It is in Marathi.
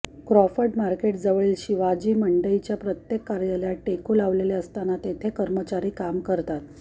क्रॉफर्ड मार्केटजवळील शिवाजी मंडईच्या प्रत्येक कार्यालयात टेकू लावलेले असताना तेथे कर्मचारी काम करतात